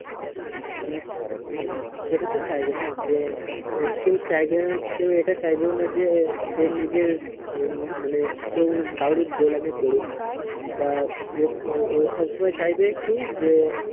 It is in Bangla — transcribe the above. হুম সেটাতো না যে আহ কেও চাইবেন কেও এটা চাইবেও না যে সে নিজে উম মানে কেও কাও রির গোলামী করুক বা ওর ও~ওর সব সময় চাইবে কি যে